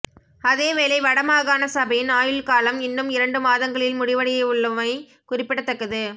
அதேவேளை வடமாகாண சபையின் ஆயுள் காலம் இன்னும் இரண்டு மாதங்களில் முடிவடையவுள்ளமை குறிப்பிடத்தக்கது